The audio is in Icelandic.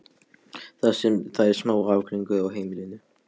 Það er smá ágreiningur á heimilinu.